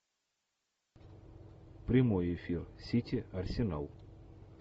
прямой эфир сити арсенал